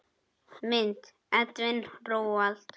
Mynd: Edwin Roald.